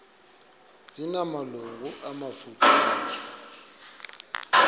zina malungu amafutshane